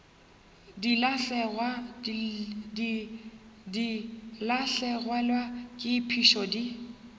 di lahlegelwa ke phišo di